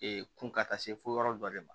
kun ka taa se fo yɔrɔ dɔ de ma